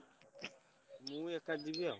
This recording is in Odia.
ମୁଁ ଏକା ଯିବି ଆଉ।